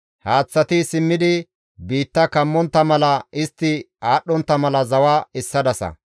Haaththati simmidi biitta kammontta mala, istti aadhdhontta mala zawa essadasa.